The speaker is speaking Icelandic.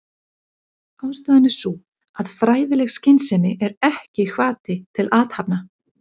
Ástæðan er sú að fræðileg skynsemi er ekki hvati til athafna.